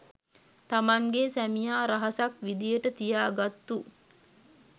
තමන්ගේ සැමියා රහසක් විදිහට තියාගත්තු